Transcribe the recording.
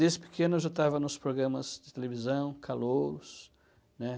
Desde pequeno eu já estava nos programas de televisão, Calouros.